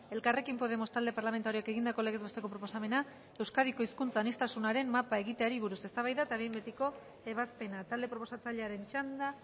elkarrekin podemos talde parlamentarioak egindako legez besteko proposamena euskadiko hizkuntza aniztasunaren mapa egiteari buruz eztabaida eta behin betiko ebazpena talde proposatzailearen txanda